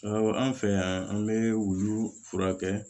Awɔ an fɛ yan an bɛ wulu furakɛ